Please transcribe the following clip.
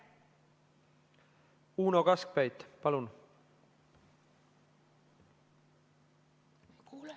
Uno Kaskpeit, palun!